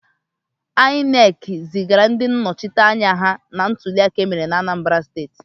INEC zigara ndị nnọchiteanya ha na ntuliaka emere na Anambara steti.